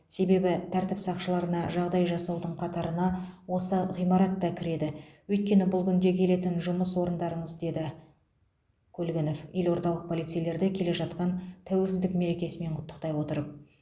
себебі тәртіп сақшыларына жағдай жасаудың қатарына осы ғимаратта кіреді өйткені бұл күнде келетін жұмыс орындарыңыз деді көлгінов елордалық полицейлерді келе жатқан тәуелсіздік мерекесімен құттықтай отырып